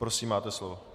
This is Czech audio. Prosím, máte slovo.